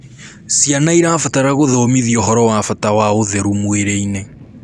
Ciana irabatara guthomithio ũhoro wa bata wa ũtheru mwĩrĩ-ini